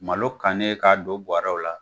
Malo kannen k'a don buwɛrɛw la.